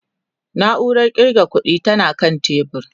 nauran ƙirga ƙuɗi tana kan tebur